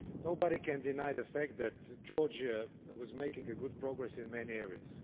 Nobody can deny the fact that Georgia was making good progress in many areas.